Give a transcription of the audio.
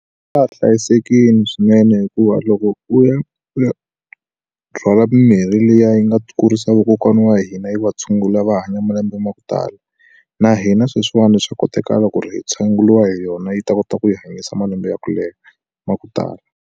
Swa ha hlayisekile swinene hikuva loko u ya u ya rhwala mimirhi leya yi nga kurisa vakokwana wa hina yi va tshungula va hanya malembe ma ku tala na hina sweswiwani swa kotakala ku ri hi tshunguriwa hi yona yi ta kota ku yi hanyisa malembe ya ku leha ma ku tala.